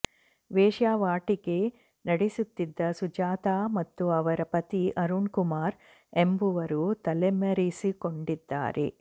ವೇಶ್ಯಾವಾಟಿಕೆ ನಡೆಸುತ್ತಿದ್ದ ಸುಜಾತಾ ಮತ್ತು ಅವರ ಪತಿ ಅರುಣ್ಕುಮಾರ್ ಎಂಬುವರು ತಲೆಮರೆಸಿಕೊಂಡಿದ್ದಾರೆ